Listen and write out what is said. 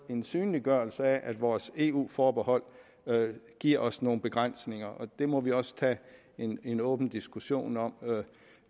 en synliggørelse af at vores eu forbehold giver os nogle begrænsninger og det må vi også tage en en åben diskussion om